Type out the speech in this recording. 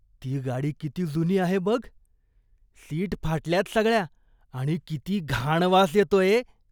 ती गाडी किती जुनी आहे बघ. सीट फाटल्यात सगळ्या आणि किती घाण वास येतोय.